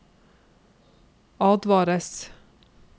advares